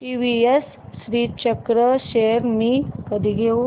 TVS Srichakra shares मी कधी घेऊ